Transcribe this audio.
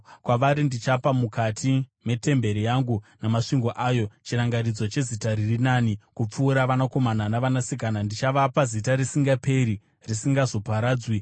kwavari ndichapa, mukati metemberi yangu namasvingo ayo, chirangaridzo nezita riri nani kupfuura vanakomana navanasikana; ndichavapa zita risingaperi, risingazoparadzwi.